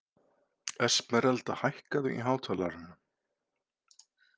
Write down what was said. Esmeralda, hækkaðu í hátalaranum.